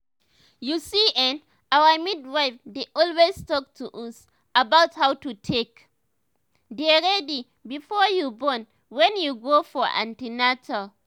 u see[um]our midwife dey always talk to us about how to take dey ready before you born wen we go for an ten atal